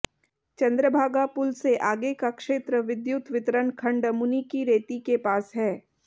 चंद्रभागा पुल से आगे का क्षेत्र विद्युत वितरण खंड मुनिकीरेती के पास है